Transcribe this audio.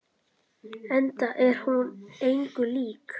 Enda er hún engu lík.